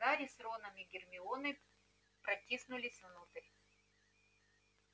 гарри с роном и гермионой протиснулись внутрь